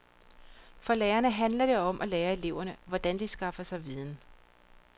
For lærerne handler det om at lære eleverne, hvordan de skaffer sig viden.